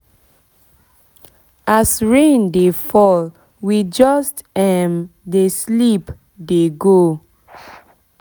as rain dey fall we just um dey sleep dey go